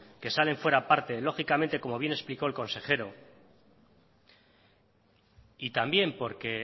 que salen fuera a parte lógicamente como bien explicó el consejero y también porque